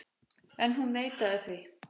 En hún neitaði því.